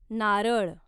नारळ